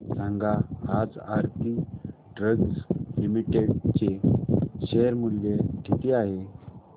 सांगा आज Aarti drugs limited चे शेअर मूल्य किती आहे